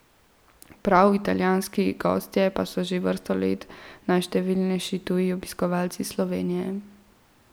Prav italijanski gostje pa so že vrsto let najštevilnejši tuji obiskovalci Slovenije.